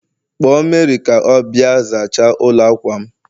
Kpọọ Mary ka ọ bịa zachaa ụlọ akwa'm